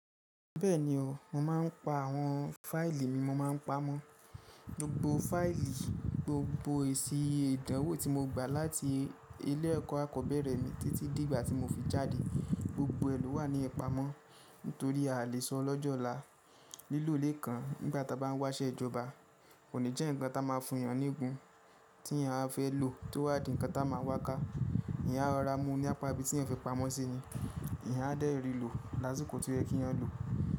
Bẹ́ẹ̀ni o, mo máa ń pa àwọn fáìlì mi mo máa ń pamọ́. Gbogbo fáìlì, gbogbo èsì ìdánwò tí mo gba láti ilé ẹ̀kọ́ akọ́bẹ̀rẹ̀ mi títí di ìgbà tí mo fi jáde gbogbo ẹ ló wà ní ipamọ́ nítorí a lè sọ lọ́jọ́ ọ̀la. Lílo ilé kan nígbà tí a bá ń wáṣẹ́ ìjọba kò ní jẹ́ ǹnkan tí a máa fún èèyàn nígun tí èèyàn a fẹ́ lò tó wá di ǹnkan tí a máa wá ká. Eeyan a rora mú ní apá ibi tí ẹ fi pamọ́ sí ni, Eeyan a dé rì lò lásìkò toyẹ kí yan lò.